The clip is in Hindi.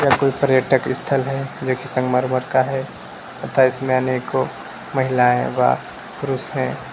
यह कोई पर्यटक स्थल है जो कि संगमरमर का है तथा इसमें अनेको महिलाएं व पुरुष हैं।